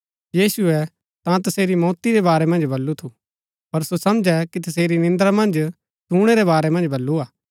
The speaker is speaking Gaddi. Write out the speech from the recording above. यीशुऐ ता तसेरी मौती रै बारै मन्ज बल्लू थू पर सो समझै कि तसेरै निन्द्रा मन्ज सुणै रै बारै मन्ज बल्लू हा